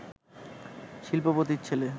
শিল্পপতির ছেলে